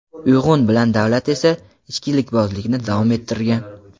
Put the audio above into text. Uyg‘un bilan Davlat esa, ichkilikbozlikni davom ettirgan.